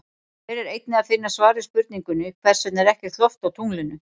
Hér er einnig að finna svar við spurningunni Hvers vegna er ekkert loft á tunglinu?